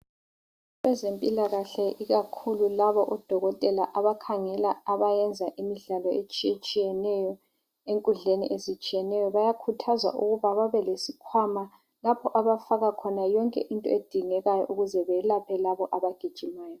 Abezempilakahle ikakhulu labo odokotela abakhangela abayenza imidlalo etshiyeneyo enkudleni ezitshiyeneyo bayakhuthazwa ukuba babe lesikhwama lapho abafaka khona yonke into edingekayo ukuze beyelaphe labo abagijimayo.